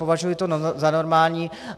Považuji to za normální.